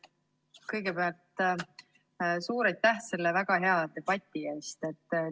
Kõigepealt suur aitäh selle väga hea debati eest!